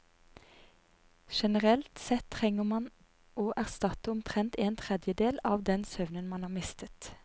Generelt sett trenger man å erstatte omtrent en tredjedel av den søvnen man har mistet.